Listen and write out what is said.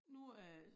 Nu er